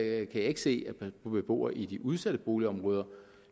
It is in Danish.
jeg ikke se at man som beboer i de udsatte boligområder